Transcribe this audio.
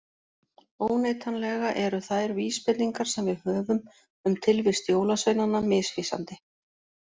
Óneitanlega eru þær vísbendingar sem við höfum um tilvist jólasveinanna misvísandi.